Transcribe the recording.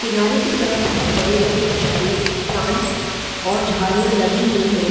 किनारे की तरफ बहुत बड़े-बड़े कुछ प्ले प्लांट और झाड़ियाँ लगी हुई हैं ।